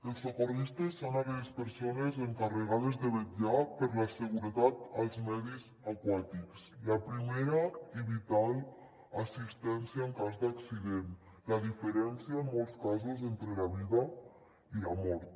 els socorristes són aquelles persones encarregades de vetllar per la seguretat als medis aquàtics la primera i vital assistència en cas d’accident la diferència en molts casos entre la vida i la mort